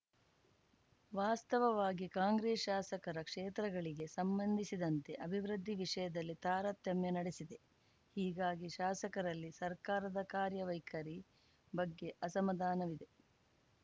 ವಾಸ್ತವವಾಗಿ ಕಾಂಗ್ರೆಸ್‌ ಶಾಸಕರ ಕ್ಷೇತ್ರಗಳಿಗೆ ಸಂಬಂಧಿಸಿದಂತೆ ಅಭಿವೃದ್ಧಿ ವಿಷಯದಲ್ಲಿ ತಾರತಮ್ಯ ನಡೆಸಿದೆ ಹೀಗಾಗಿ ಶಾಸಕರಲ್ಲಿ ಸರ್ಕಾರದ ಕಾರ್ಯ ವೈಖರಿ ಬಗ್ಗೆ ಅಸಮಾಧಾನವಿದೆ